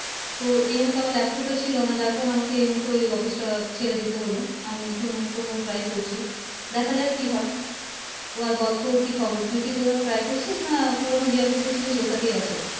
তো এই মুহুতে আমার laptop টা ছিলো না যার কারনে এই মুহূর্তে এই office টা ছেড়ে দিতে হলও আমি নতুন কোথাও try করছি দেখা যাক কি হয় তো আর বল তোর কি খবর তুই কি কোথাও try করছিস না পুরোনো যে office এ ছিলিস ওটাতেই আছিস